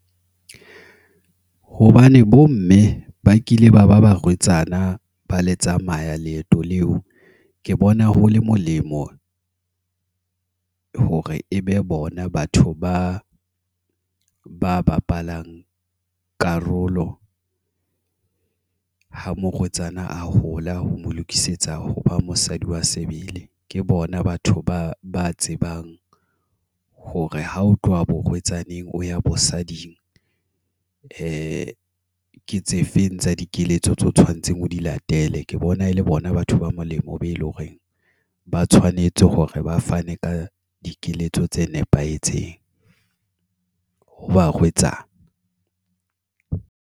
Hobane bo mme, ba kile ba ba barwetsana, ba le tsamaya leeto leo. Ke bona ho le molemo, hore e be bona batho ba ba bapalang karolo, ha morwetsana a hola ho mo lokisetsa hoba mosadi wa sebele. Ke bona batho ba ba tsebang hore ha ho tloha borwetsaneng o ya bosading. Ke tse feng tsa dikeletso tseo tshwanetseng o di latele. Ke bona e le bona batho ba molemo be eleng hore ba tshwanetse hore ba fane ka dikeletso tse nepahetseng ho barwetsana.